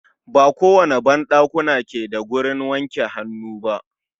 Ba kowane ban ɗakuna ke da wurin wanke hannu ba.